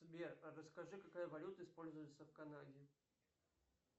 сбер расскажи какая валюта используется в канаде